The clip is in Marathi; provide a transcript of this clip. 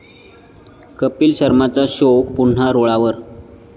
कपिल शर्माचा शो पुन्हा रुळावर